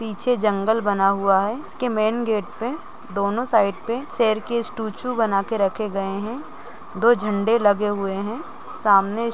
पीछे जंगल बना हुआ है है इसके मैन गेट पे दोनों साइड पे शेर के स्टूचू बनाकर रखे गए हैं दो झंडे लगे हुए है सामने--